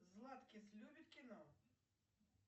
златкис любит кино